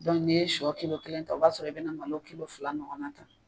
n'i ye shɔ kelen ta o b'a sɔrɔ i bɛ na malo fila ɲɔgɔnna ta.